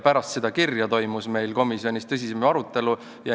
Pärast seda kirja toimus meil komisjonis tõsisem arutelu.